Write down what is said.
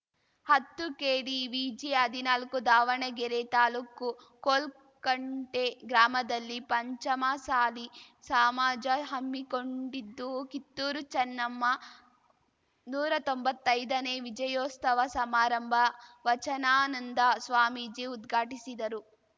ಹತ್ತುಕೆಡಿವಿಜಿಹದಿನಾಲಕ್ಕೂ ದಾವಣಗೆರೆ ತಾಲೂಕು ಕೋಲ್ಕಂಟೆ ಗ್ರಾಮದಲ್ಲಿ ಪಂಚಮಸಾಲಿ ಸಾಮಾಜ ಹಮ್ಮಿಕೊಂಡಿದ್ದು ಕಿತ್ತೂರು ಚನ್ನಮ್ಮ ನೂರಾ ತೊಂಬತ್ತೈದನೇ ವಿಜಯೋಸ್ತವ ಸಮಾರಂಭ ವಚನಾನಂದ ಸ್ವಾಮೀಜಿ ಉದ್ಘಾಟಿಸಿದರು